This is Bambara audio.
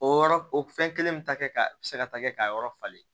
O yɔrɔ o fɛn kelen bɛ ta kɛ ka se ka ta kɛ k'a yɔrɔ falen